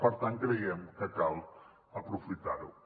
per tant creiem que cal aprofitar ho